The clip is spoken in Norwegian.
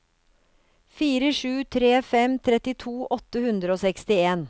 fire sju tre fem trettito åtte hundre og sekstien